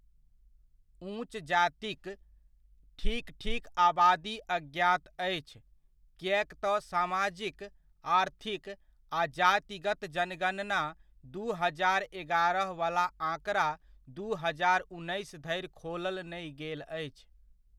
उँच जातिकेँ ठीक ठीक आबादी अज्ञात अछि, किएक तँ समाजिक, आर्थिक आ जातिगत जनगणना दू हजार एगारह वला आँकड़ा दू हजार उन्नैस धरि खोलल नहि गेल अछि।